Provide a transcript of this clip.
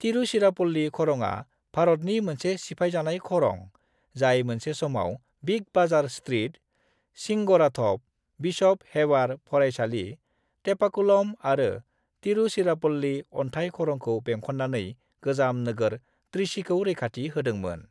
तिरुचिरापल्ली खरङा भारतनि मोनसे सिफायजानाय खरं जाय मोनसे समाव big bazaar street, Singarathope, bishop Heber फरायसालि, टेपाकुलम आरो तिरुचिरापल्ली अनथाइ खरंखौ बेंखननानै गोजाम नोगोर त्रिचीखौ रैखाथि होदोंमोन।